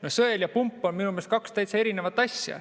No sõel ja pump on minu meelest kaks täiesti erinevat asja.